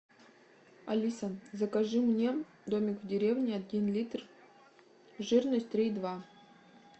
алиса закажи мне домик в деревне один литр жирность три и два